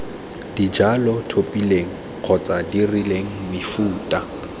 dijalo tlhophileng kgotsa dirileng mefuta